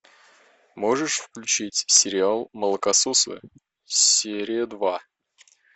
можешь включить сериал молокососы серия два